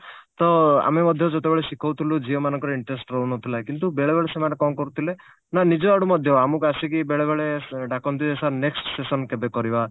ତ ଆମେ ମଧ୍ୟ ଯେତେବେଳେ ଶିଖଉଥିଲୁ ଝିଅ ମାନଙ୍କର interest ରହୁନଥିଲା କିନ୍ତୁ ବେଳେବେଳେ ସେମାନେ କଣ କରୁଥିଲେ ନା ନିଜ ଆଡୁ ମଧ୍ୟ ଆମକୁ ଆସିକି ବେଳେବେଳେ ଡାକନ୍ତି ଯେ sir next session କେବେ କରିବା